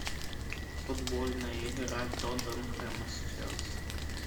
футбольная игра тоттенхэма с челси